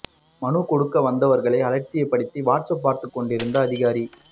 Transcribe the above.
மனு கொடுக்க வந்தவர்களை அலட்சியப்படுத்தி வாட்ஸ் அப் பார்த்து கொண்டிருந்த அதிகாரி